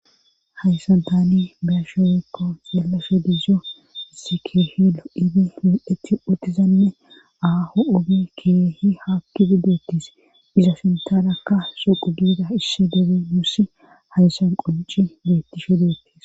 Hayssan tani beyashomekko xeelashe dizo isse keehi lo7idi mi7eti utizanne aaho ugi keehi haakkidi deettis iza sintanakka shoqu giida isse debe muss haysan qunci beettishe deettis